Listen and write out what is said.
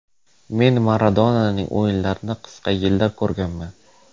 Men Maradonaning o‘yinlarini qisqa yillar ko‘rganman.